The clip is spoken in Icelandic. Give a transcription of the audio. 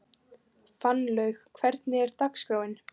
Fannlaug, hvernig er dagskráin?